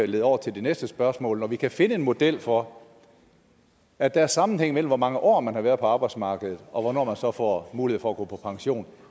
lede over til det næste spørgsmål når vi kan finde en model for at der er sammenhæng mellem hvor mange år man har været på arbejdsmarkedet og hvornår man får får mulighed for at gå på pension